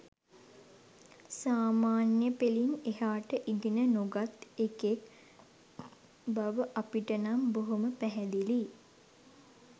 සාමාන්‍ය පෙලින් එහාට ඉගෙන නොගත් එකෙක් බව අපිටනම් බොහොම පැහැදිලියි